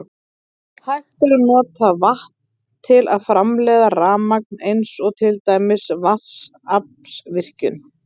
Hægt er að nota vatn til að framleiða rafmagn eins og til dæmis í vatnsaflsvirkjun.